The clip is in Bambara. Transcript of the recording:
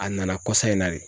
A nana kɔsa in na de.